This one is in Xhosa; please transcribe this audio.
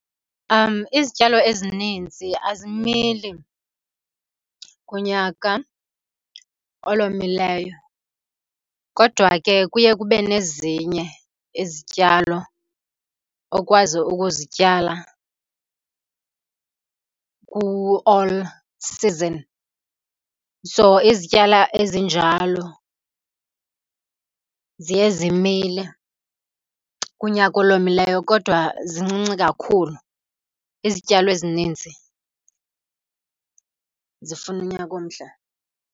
Izityalo ezininzi azimili kunyaka olomileyo, kodwa ke kuye kube nezinye izityalo okwazi ukuzityala ku-all season. So izityalo ezinjalo ziye zimile kunyaka olomileyo, kodwa zincinci kakhulu. Izityalo ezininzi zifuna unyaka omhle.